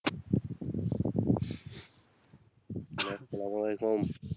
সেলাম ওয়ালেকুম